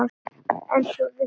En trúði því þá.